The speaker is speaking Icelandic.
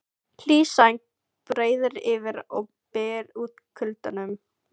Hlý sæng breiðir yfir og byggir út kuldanum.